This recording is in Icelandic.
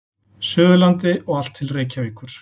Suðurlandi og allt til Reykjavíkur.